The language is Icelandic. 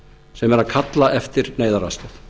sem eru að kalla eftir neyðaraðstoð